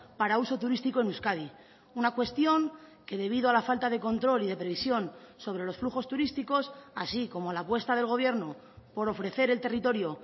para uso turístico en euskadi una cuestión que debido a la falta de control y de previsión sobre los flujos turísticos así como la apuesta del gobierno por ofrecer el territorio